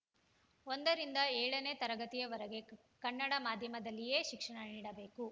ಒಂದರಿಂದ ಏಳನೇ ತರಗತಿವರೆಗೆ ಕನ್ನಡ ಮಾಧ್ಯಮದಲ್ಲಿಯೇ ಶಿಕ್ಷಣ ನೀಡಬೇಕು